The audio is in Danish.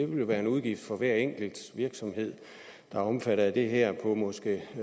være en udgift for hver enkelt virksomhed der er omfattet af det her på måske